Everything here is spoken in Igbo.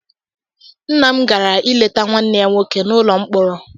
Nna m gara ileta nwanne ya nwoke n'ụlọ mkpọrọ